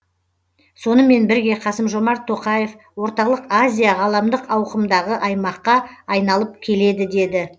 сонымен бірге қасым жомарт тоқаев орталық азия ғаламдық ауқымдағы аймаққа айналып келеді деді